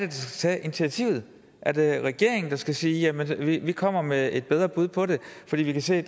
tage initiativet er det regeringen der skal sige vi kommer med et bedre bud på det fordi vi kan se